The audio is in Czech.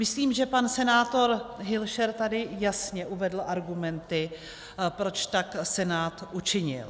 Myslím, že pan senátor Hilšer tady jasně uvedl argumenty, proč tak Senát učinil.